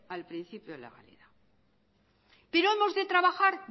al principio de legalidad pero hemos de trabajar